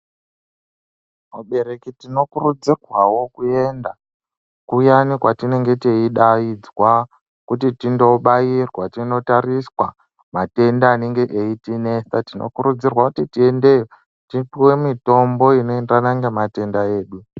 Abereki tino kurudzirwawo kuenda kuyani kwatinenge teyi daidzwa kuti tindo bairwa tino tariswa matenda anenge eyiti nesa tinokurudzirwa kuti tiende tipuwe mitombo ino enderana nge matenda edu.